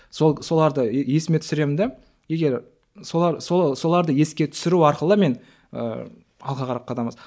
сол соларды есіме түсіремін де егер солар соларды еске түсіру арқылы мен ыыы алға қарап қадам